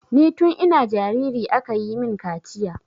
Ni tun ina jariri aka yi min kaciya.